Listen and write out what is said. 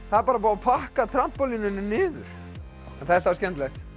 það er bara búið að pakka niður en þetta er skemmtilegt